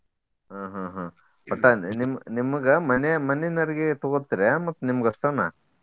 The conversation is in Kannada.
ಹ್ಮ್ ಹ್ಮ್ ಹ್ಮ್ ಒಟ್ಟ ಅಂದ್ರ ನಿಮ್ ನಿಮಗ ಮನೆ ಮನೆನವರಿಗೆ ತೊಗೋತೆರ್ಯಾ ಮತ್ತ ನಿಮ್ಗ ಅಷ್ಟನಾ.